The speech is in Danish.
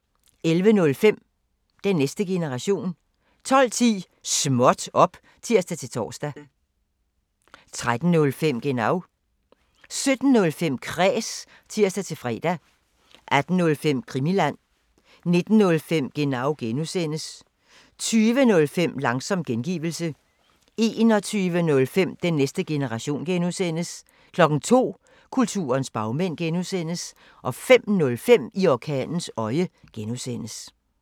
11:05: Den næste generation 12:10: Småt op! (tir-tor) 13:05: Genau 17:05: Kræs (tir-fre) 18:05: Krimiland 19:05: Genau (G) 20:05: Langsom gengivelse 21:05: Den næste generation (G) 02:00: Kulturens bagmænd (G) 05:05: I orkanens øje (G)